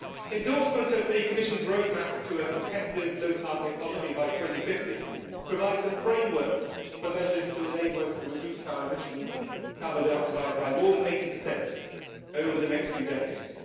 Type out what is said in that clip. Endorsement of the Commission's Roadmap for a competitive low carbon economy by 2050 provides the framework for measures to enable us to reduce our emissions of carbon dioxide by more than 80 over the next few decades.